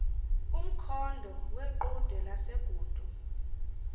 umkhondo weqhude lasegudu